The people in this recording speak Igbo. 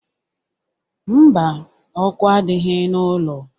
Mba, ọkụ adịghị n'ụlọ